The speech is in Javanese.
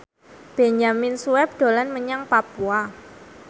Benyamin Sueb dolan menyang Papua